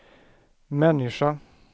människa